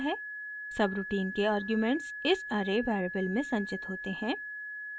subroutine के arguments इस array variable में संचित होते हैं